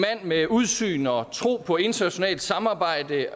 med udsyn og tro på internationalt samarbejde